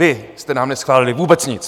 Vy jste nám neschválili vůbec nic!